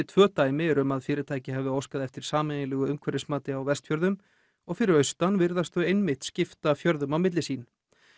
tvö dæmi um að fyrirtæki hafi óskað eftir sameiginlegu umhverfismati á Vestfjörðum og fyrir austan virðast þau einmitt skipta fjörðum á milli sín